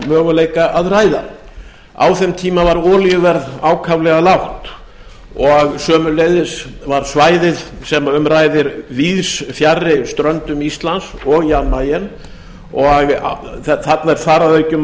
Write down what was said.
möguleika að ræða á þeim tíma var olíuverð ákaflega lágt og sömuleiðis var svæðið sem um ræðir víðs fjarri ströndum íslands og jan mayen og þarna er þar að auki um að